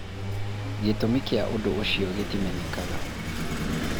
Gĩtũmi kĩa ũndũ ũcio gĩtimenyekaga.